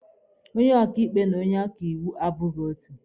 Onye ọkaịkpe na onye ọkaiwu abụghị otu.